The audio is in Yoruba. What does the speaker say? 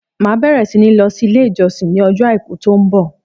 Màá bẹ̀rẹ̀ sí ní lọ sí ilé ìjọsìn ní ọjọ́ Àìkú tó ń bọ̀.